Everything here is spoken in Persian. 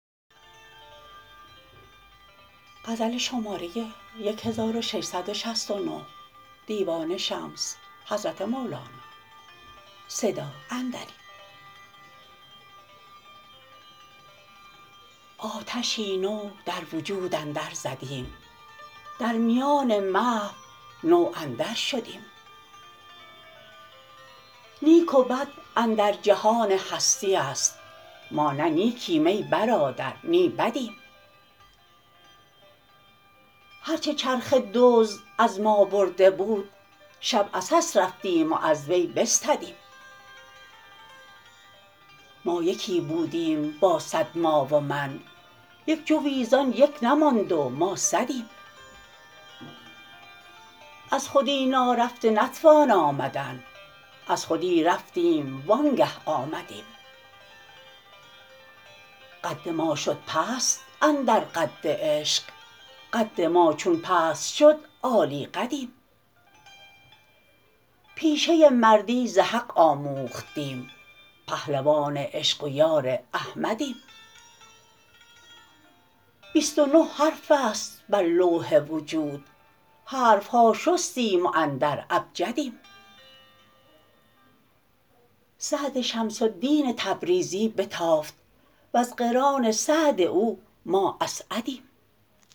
آتشی نو در وجود اندرزدیم در میان محو نو اندرشدیم نیک و بد اندر جهان هستی است ما نه نیکیم ای برادر نی بدیم هر چه چرخ دزد از ما برده بود شب عسس رفتیم و از وی بستدیم ما یکی بودیم با صد ما و من یک جوی زان یک نماند و ما صدیم از خودی نارفته نتوان آمدن از خودی رفتیم وانگه آمدیم قد ما شد پست اندر قد عشق قد ما چون پست شد عالی قدیم پیشه مردی ز حق آموختیم پهلوان عشق و یار احمدیم بیست و نه حرف است بر لوح وجود حرف ها شستیم و اندر ابجدیم سعد شمس الدین تبریزی بتافت وز قران سعد او ما اسعدیم